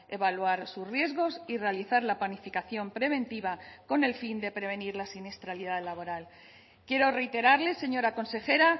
evaluar sus riesgos y realizar la planificación preventiva con el fin de prevenir la siniestralidad laboral quiero reiterarles señora consejera